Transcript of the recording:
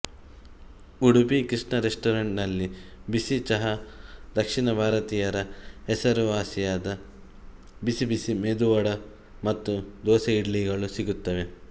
Udupi Krishna restaurant ನಲ್ಲಿ ಬಿಸಿ ಚಹ ದಕ್ಷಿಣ ಭಾರತೀಯರ ಹೆಸರುವಾಸಿಯಾದ ಬಿಸಿಬಿಸಿಮೆದುವಡ ಮತ್ತು ದೋಸೆ ಇಡ್ಲಿ ಗಳು ಸಿಗುತ್ತವೆ